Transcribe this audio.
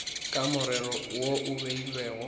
ka morero wo o beilwego